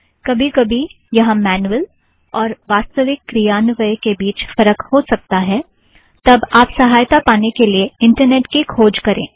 कभी कभी वहाँ मैनुअल और वास्तविक क्रियान्वयन के बीच फ़र्क हो सकता है तब आप सहायता पाने के लिए इंटरनेट की खोज करें